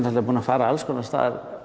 búinn að fara alls konar af stað